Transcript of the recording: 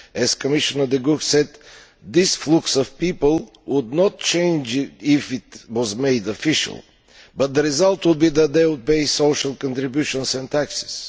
As Commissioner De Gucht said, this flow of people would not change if it was made official, but the result would be that they would pay social contributions and taxes.